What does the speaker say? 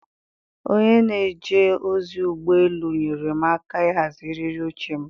onye na-eje ozi ụgbọ elu nyeere m aka ịhazi eriri oche m.